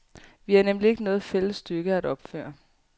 Vi har nemlig ikke noget fælles stykke at opføre.